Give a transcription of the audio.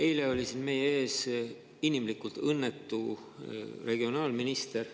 Eile oli siin meie ees õnnetu regionaalminister.